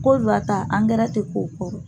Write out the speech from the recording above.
Kodiwa ta angɛrɛ tɛ ko o kɔrɔ.